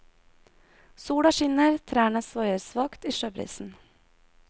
Sola skinner, trærne svaier svakt i sjøbrisen.